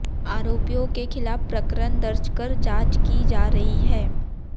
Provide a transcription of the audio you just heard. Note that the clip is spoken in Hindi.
आरोपियों के खिलाफ प्रकरण दर्ज कर जांच की जा रही है